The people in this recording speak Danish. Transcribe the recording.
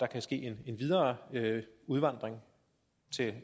der ske en videre udvandring